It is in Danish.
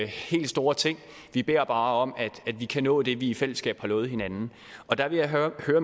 helt store ting vi beder bare om at vi kan nå det vi i fællesskab har lovet hinanden og der vil jeg høre